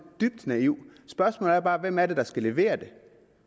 dybt naiv spørgsmålet er bare hvem det er der skal levere det